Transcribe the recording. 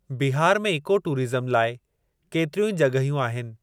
बिहार में इकोटूरिज़्म लाइ केतिरियूं ई जॻहियूं आहिनि।